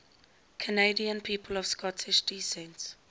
canadian people of scottish descent